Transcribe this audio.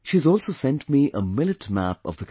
She has also sent me a millet map of the country